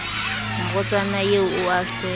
morwetsana eo o a se